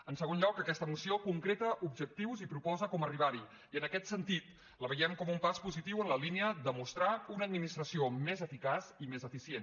en segon lloc aquesta moció concreta objectius i proposa com arribar hi i en aquest sentit la veiem com un pas positiu en la línia de mostrar una administració més eficaç i més eficient